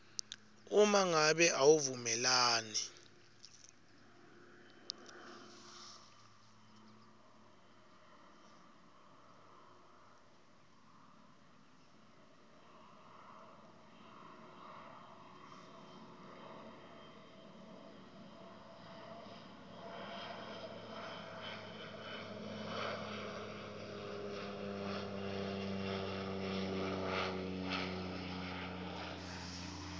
uma ngabe awuvumelani